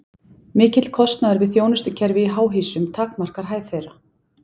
Mikill kostnaður við þjónustukerfi í háhýsum takmarkar hæð þeirra.